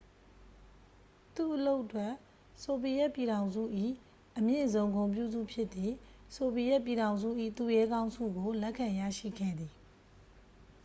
"သူ့အလုပ်အတွက် ဆိုဗီယက်ပြည်ထောင်စု၏ အမြင့်ဆုံ ဂုဏ်ပြုဆု ဖြစ်သည့် "ဆိုဗီယက်ပြည်ထောင်စု၏ သူရဲကောင်း" ဆုကို လက်ခံရရှိခဲ့သည်။